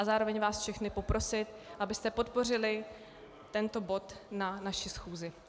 A zároveň vás všechny poprosit, abyste podpořili tento bod na naši schůzi.